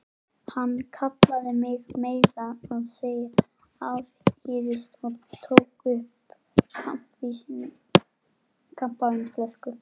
Hann kallaði mig meira að segja afsíðis og tók upp kampavínsflösku.